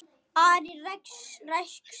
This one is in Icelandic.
Ari ræskti sig.